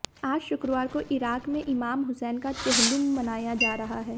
आज शुक्रवार को इराक़ में इमाम हुसैन का चेहलुम मनाया जा रहा है